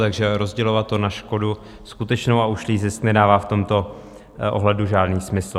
Takže rozdělovat to na škodu skutečnou a ušlý zisk nedává v tomto ohledu žádný smysl.